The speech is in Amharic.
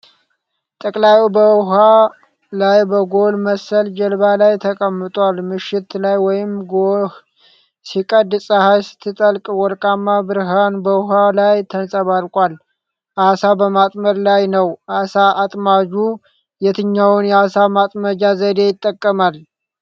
ጠላቂው በውሃ ላይ በሎግ መሰል ጀልባ ላይ ተቀምጧል። ምሽት ላይ ወይም ጎህ ሲቀድ ፀሐይ ስትጠልቅ ወርቃማ ብርሀን በውሃው ላይ ተንጸባርቋል። ዓሣ በማጥመድ ላይ ነው። ዓሣ አጥማጁ የትኛውን የዓሣ ማጥመጃ ዘዴ ይጠቀማል?